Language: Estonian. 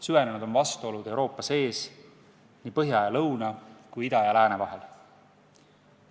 Süvenenud on vastuolud Euroopa sees, nii põhja ja lõuna kui ka ida ja lääne vahel.